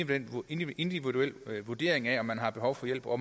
individuel vurdering af om man har behov for hjælp og